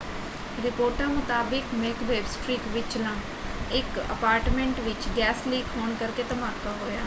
ਰਿਪੋਰਟਾਂ ਮੁਤਾਬਕ Macbeth street ਵਿਚਲਾ ਇੱਕ ਅਪਾਰਟਮੈਂਟ ਵਿੱਚ ਗੈਸ ਲੀਕ ਹੋਣ ਕਰਕੇ ਧਮਾਕਾ ਹੋਇਆ।